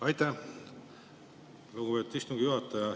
Aitäh, lugupeetud istungi juhataja!